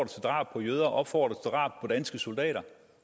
til drab på jøder opfordrer drab på danske soldater